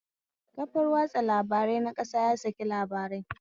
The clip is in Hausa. Kafar watsa labarai na ƙasa ya saki labarai